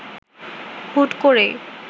হুট করেই